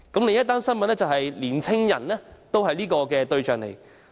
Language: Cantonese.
另一則新聞指出年輕人也是行騙對象。